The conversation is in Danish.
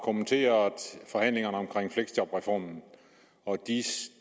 kommenteret forhandlingerne omkring fleksjobreformen og